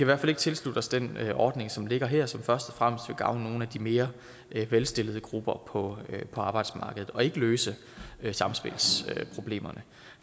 hvert fald ikke tilslutte os den ordning som ligger her som først og fremmest vil gavne nogle af de mere velstillede grupper på arbejdsmarkedet og ikke løse samspilsproblemerne